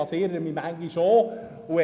Ich irre mich manchmal auch.